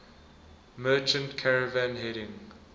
merchant caravan heading